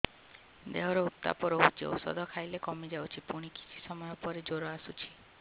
ଦେହର ଉତ୍ତାପ ରହୁଛି ଔଷଧ ଖାଇଲେ କମିଯାଉଛି ପୁଣି କିଛି ସମୟ ପରେ ଜ୍ୱର ଆସୁଛି